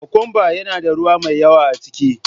Kokwamba yana da ruwa mai yawa a ciki.